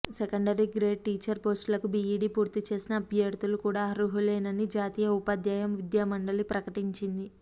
secondary grade teacher పోస్టులకు BEd పూర్తిచేసిన అభ్యర్థులు కూడా అర్హులేనని జాతీయ ఉపాధ్యాయ విద్యామండలి ప్రకటించింది